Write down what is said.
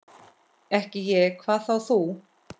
Ekki ég, hvað þá þú.